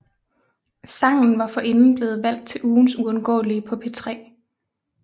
Sangen var forrinden blevet valgt til Ugens Uundgåelige på P3